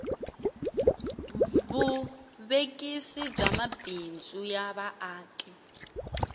vuvekisi bya mabindzu ya vaaki